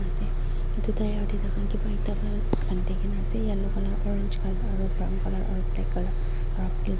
ase edu tyre tae takhan kipa ekta pa bandina kanae ase yellow colour orange colour aro brown colour aru black colour aro blue --